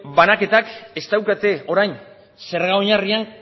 banaketak ez daukate orain zerga oinarrian